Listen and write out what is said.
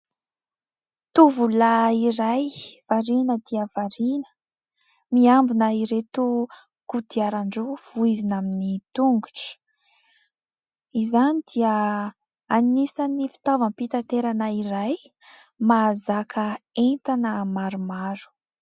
Tovolahy iray, variana dia variana miambina ireto kodiaran-droa voizina amin'ny tongotra. Izany dia anisany fitaovam-pitanterana iray mahazaka entana maromaro.